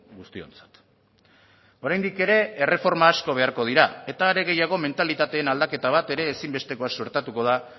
guztiontzat oraindik ere erreforma asko beharko dira eta are gehiago mentalitate aldaketa bat ere ezinbestekoa suertatuko da